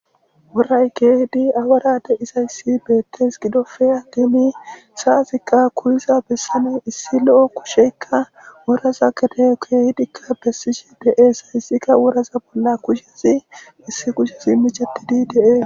woray keehidi awarade izayssi beettes gidofeya diemi saaziqqa kuyiza bessane issi lo7o kusheykka woraza kede koehidikka bessishi de7eesayssikka woraza bolla kushezi issi kushezi micatidi dee